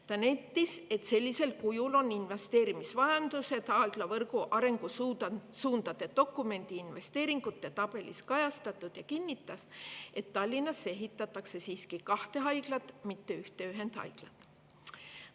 Ta nentis, et sellisel kujul on investeerimisvajadused haiglavõrgu arengusuundade dokumendi investeeringute tabelis kajastatud, ja kinnitas, et Tallinnasse ehitatakse siiski kahte haiglat, mitte ühte ühendhaiglat.